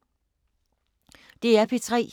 DR P3